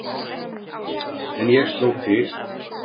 En ég sló til.